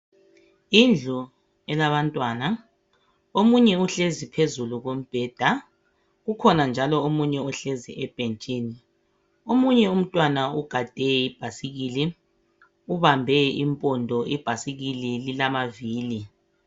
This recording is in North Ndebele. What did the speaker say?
Indlu elabantwana. Omunye uhlezi phezulu khombheda. Ukhona njalo omunye ohlezi ebhentshini. Omunye umntwana ugade ibhayisikili ubambe impondo, ibhayisikili lilamavili.